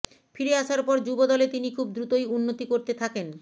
ফিরে আসার পর যুব দলে তিনি খুব দ্রুতই উন্নতি করতে থাকেন